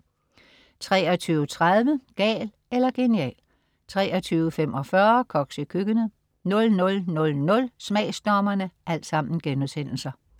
23.30 Gal eller genial* 23.45 Koks i køkkenet* 00.00 Smagsdommerne*